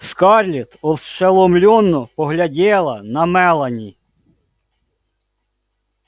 скарлетт ошеломлённо поглядела на мелани